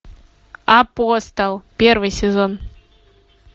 апостол первый сезон